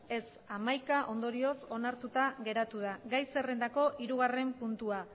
ez hamaika ondorioz onartuta geratu da gai zerrendako hirugarren puntua